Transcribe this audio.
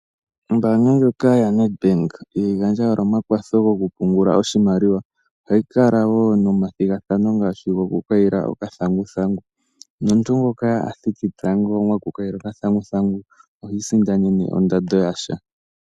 Ombaanga ndjoka yaNedBank ihayi gandja owala omakwatho gokupungula oshimaliwa. Ohayi kala wo nomathigathano ngaashi gokukayila okathanguthangu. Nomuntu ngoka a thiki tango mokukayila okathanguthangu ohi isindanene ondando yasha.